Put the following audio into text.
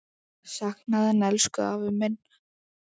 Sakna þín, elsku afi minn.